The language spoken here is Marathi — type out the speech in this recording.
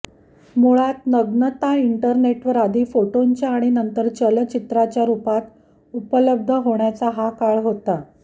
मुळात नग्नता इंटरनेटवर आधी फोटोंच्या आणि नंतर चलच्चित्राच्या रूपात उपलब्ध होण्याचा हा काळ होता